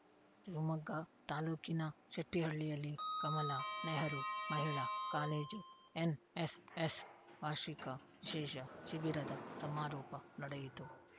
ಶಿವಮೊಗ್ಗ ತಾಲೂಕಿನ ಶೆಟ್ಟಿಹಳ್ಳಿಯಲ್ಲಿ ಕಮಲಾ ನೆಹರು ಮಹಿಳಾ ಕಾಲೇಜು ಎನ್‌ಎಸ್‌ಎಸ್‌ವಾರ್ಷಿಕ ವಿಶೇಷ ಶಿಬಿರದ ಸಮಾರೋಪ ನಡೆಯಿತು